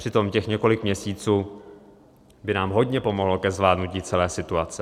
Přitom těch několik měsíců by nám hodně pomohlo ke zvládnutí celé situace.